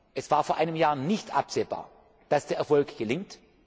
Es war vor einem Jahr nicht absehbar, dass das Ganze gelingt.